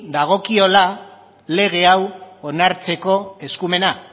dagokiola lege hau onartzeko eskumena